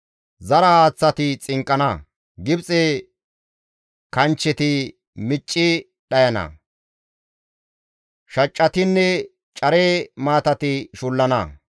Zara haaththati xinqqana; Gibxe kanchcheti micci dhayana; shaccatinne care maatati shullana.